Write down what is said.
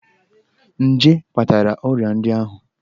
Nje kpatara ọrịa ndị ahụ.